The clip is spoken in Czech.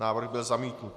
Návrh byl zamítnut.